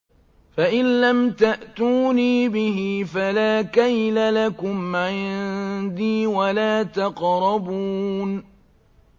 فَإِن لَّمْ تَأْتُونِي بِهِ فَلَا كَيْلَ لَكُمْ عِندِي وَلَا تَقْرَبُونِ